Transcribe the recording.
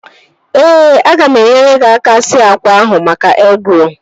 Ee, aga m enyere gị aka sie akwa ahụ maka egịrolu